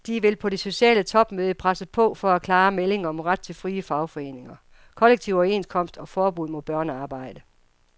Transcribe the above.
De vil på det sociale topmøde presse på for klare meldinger om ret til frie fagforeninger, kollektive overenskomster og forbud mod børnearbejde.